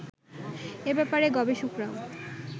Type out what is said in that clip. এ ব্যাপারে গবেষকরাও